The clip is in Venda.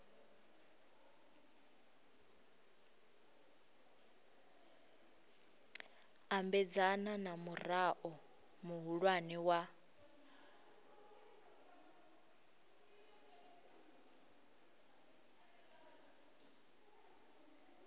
ambedzana na murao muhulwane wa